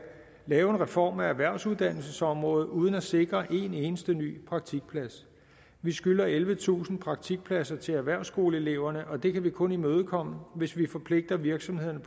lave en reform af erhvervsuddannelsesområdet uden at sikre en eneste ny praktikplads vi skylder ellevetusind praktikpladser til erhvervsskoleeleverne og det kan vi kun imødekomme hvis vi forpligter virksomhederne